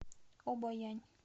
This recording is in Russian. обоянь